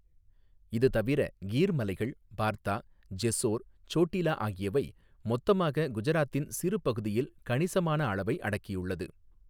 இது தவிர கீர் மலைகள், பார்தா, ஜெஸ்ஸோர், சோட்டிலா ஆகியவை மொத்தமாக குஜராத்தின் சிறு பகுதியில் கணிசமான அளவை அடக்கியுள்ளது.